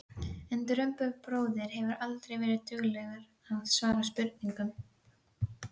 En Drumbur bróðir hefur aldrei verið duglegur að svara spurningum.